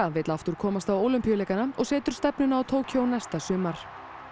vill aftur komast á Ólympíuleikana og setur stefnuna á Tókýó næsta sumar